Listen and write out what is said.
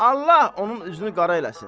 Allah onun üzünü qara eləsin.